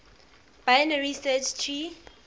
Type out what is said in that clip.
binary search tree